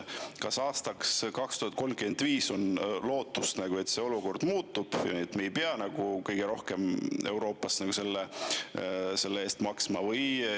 Kas aastaks 2035 on lootust, et see olukord muutub ja me ei pea enam kõige rohkem Euroopas selle eest maksma?